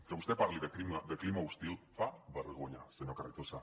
que vostè parli de clima hostil fa vergonya senyor carrizosa